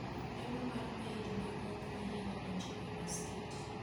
Lamo mar Eid ne ok oyiene donjo e masikiti,